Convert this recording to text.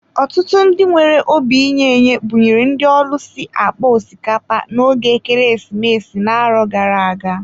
Ọtụtụ ndị nwere obi inye-enye buṅyere ndị ọlusi akpa osikapa na ógè ekeresimesi na-arọ gara-aga.